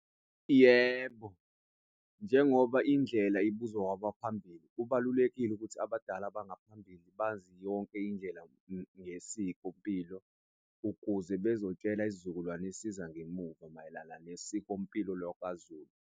Yebo, njengoba indlela ibuzwa kwabaphambili, kubalulekile ukuthi abadala abangaphambili bazi yonke indlela yesiko mpilo ukuze bezotshela isizukulwane esiza ngemuva mayelana nesikompilo lwakwaZulu.